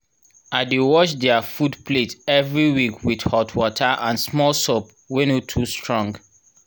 i dey wash their food plate every week with hot water and small soap wey no too strong